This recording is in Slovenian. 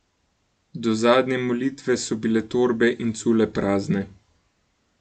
Do zadnje molitve so bile torbe in cule prazne.